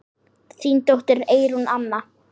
Þín dóttir, Eyrún Anna.